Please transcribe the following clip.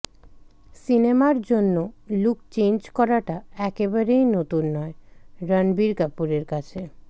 সিনেমার জন্য look change করাটা একেবারেই নতুন নয় রণবীর কাপুরের কাছে